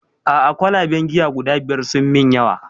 A'a kwalaben giya guda biyar sun min yawa